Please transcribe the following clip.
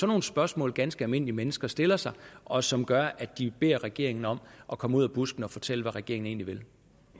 nogle spørgsmål ganske almindelige mennesker stiller sig og som gør at de beder regeringen om at komme ud af busken og fortælle hvad regeringen egentlig